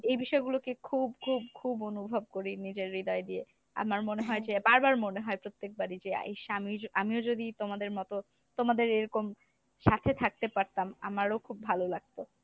এই বিষয় গুলোকে খুব খুব খুব অনুভব করি নিজের হৃদয় দিয়ে আমার মনে হয় যে বার বার মনে হয় প্রত্যেকবারই যে ইস আমিও যদি আমিও যদি তোমাদের মতো তোমাদের এরকম সাথে থাকতে পারতাম আমারও খুব ভালো লাগতো